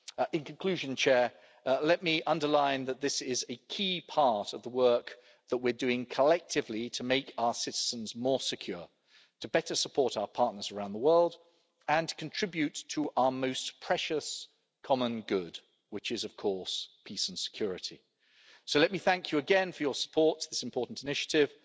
In conclusion, let me underline that this is a key part of the work that we're doing collectively to make our citizens more secure, to better support our partners around the world and to contribute to our most precious common good, which is, of course, peace and security. So let me thank you again for your support for this important initiative.